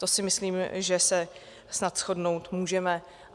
To si myslím, že se snad shodnout můžeme.